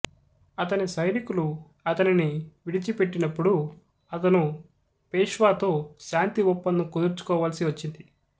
ఆతని సైనికులు ఆతనిని విడిచిపెట్టినప్పుడు ఆతను పేష్వాతో శాంతి ఒప్పందం కుదుర్చుకోవలసి వచ్చింది